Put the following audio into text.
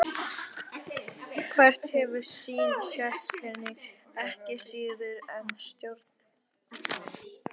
Hvert hefur sín sérkenni ekki síður en stjórnkerfi dreifkjörnunga.